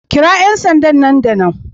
Kira 'yan sanda da nan da nan